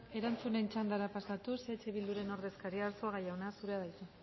erantzunen txandara pasatuz eh bilduren ordezkaria arzuaga jauna zurea da hitza